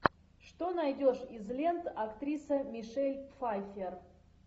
что найдешь из лент актриса мишель пфайфер